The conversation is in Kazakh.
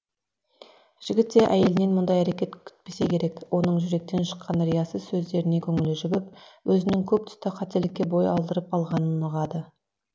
жігіт те әйелінен мұндай әрекет күтпесе керек оның жүректен шыққан риясыз сөздеріне көңілі жібіп өзінің көп тұста қателікке бой алдырып алғанын ұғады